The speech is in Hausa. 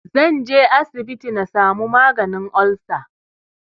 Zanje asibiti na samu maganin olsa